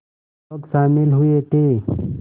लोग शामिल हुए थे